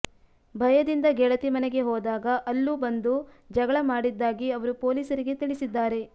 ಭಯದಿಂದ ಗೆಳತಿ ಮನೆಗೆ ಹೋದಾಗ ಅಲ್ಲೂ ಬಂದು ಜಗಳ ಮಾಡಿದ್ದಾಗಿ ಅವರು ಪೊಲೀಸರಿಗೆ ತಿಳಿಸಿದ್ದಾರೆ